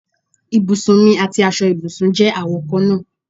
Ibùsùn mì àti aṣọ ibùsùn je àwo kan náà